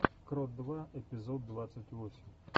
крот два эпизод двадцать восемь